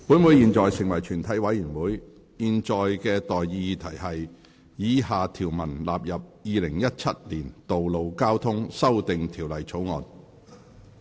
我現在向各位提出的待議議題是：以下條文納入《2017年道路交通條例草案》。